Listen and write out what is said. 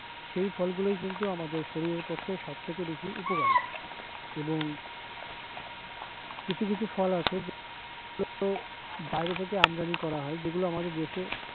সেই ফলগুলোই কিন্তু আমাদের শরীরের পক্ষে সব থেকে বেশি উপকারী এবং কিছু কিছু ফল আছে যে গুলো বাইরে থেকে আমদানি করা হয়, যেগুলো আমাদের দেশে